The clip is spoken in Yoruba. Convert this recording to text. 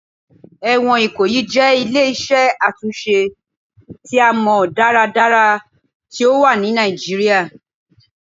Ẹwọn Ikoyi jẹ ile-iṣẹ atunṣe ti a mọ daradara ti o wa ni Nigeria